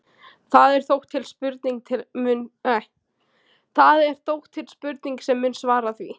Það er þó til spurning sem mun svara því.